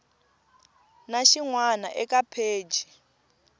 na xin wana eka pheji